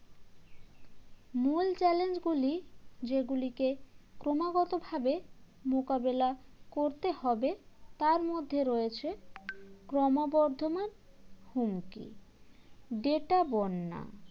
মূল challenge গুলি যেগুলিকে ক্রমাগতভাবে মোকাবেলা করতে হবে তার মধ্যে রয়েছে ক্রমবর্ধমান হুমকি data বন্যা